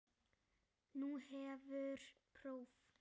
Nú hefur próf.